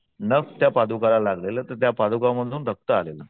नख त्या पादुकाला लागलेलं तर त्या पादुका मधून रक्त आलेलं.